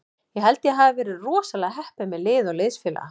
Ég held að ég hafi verið rosalega heppinn með lið og liðsfélaga.